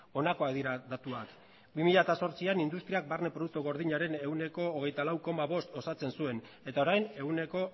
honakoak dira datuak bi mila zortzian industriak barne produktu gordinaren ehuneko hogeita lau koma bost osatzen zuen eta orain ehuneko